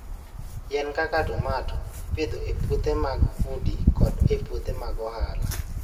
Yien kaka tomato ipidho e puothe mag udi koda e puothe mag ohala.